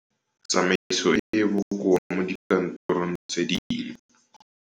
Tsamaiso e e bokoa mo dikantorong tse dingwe.